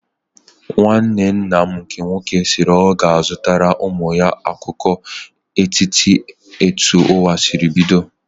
Nwanne nna m nke nwoke sịrị na ọ ga-akụziri ụmụ ya akụkọ okike etu ụwa sịrị bido